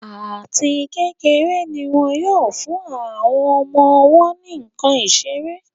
Àti kékeré ní wón yóò fún àwọn ọmọ-ọwọ́ ní nkán seré.